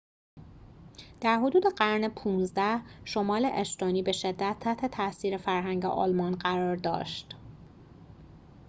در حدود قرن ۱۵ شمال استونی به شدت تحت تأثیر فرهنگ آلمان قرار داشت